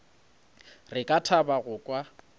re ka thaba go kwa